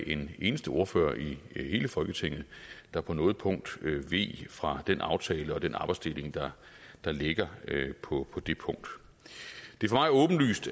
en eneste ordfører i hele folketinget der på noget punkt veg fra den aftale og den arbejdsdeling der ligger på det punkt det